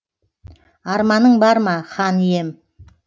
арманың бар ма хан ием